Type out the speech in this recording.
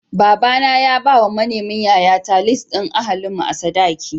Baba na ya bawa manemin yayata lis ɗin ahalin mu a sadaki.